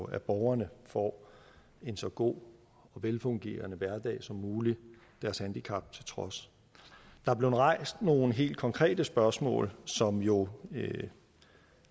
at borgerne får en så god og velfungerende hverdag som muligt deres handicap til trods der er blevet rejst nogle helt konkrete spørgsmål som jo